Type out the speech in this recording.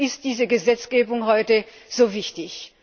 Deswegen ist diese Gesetzgebung heute so wichtig.